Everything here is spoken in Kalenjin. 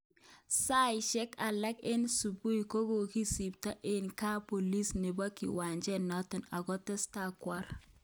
Saishek alak eng subui, kokokisipto eng kap polis nebo kiwanjet noton akotestai kworor.